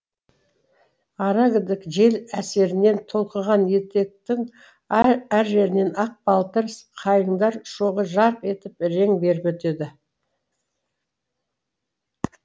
арагідік жел әсерінен толқыған етектің әр әр жерінен ақ балтыр қайыңдар шоғы жарқ етіп рең беріп өтеді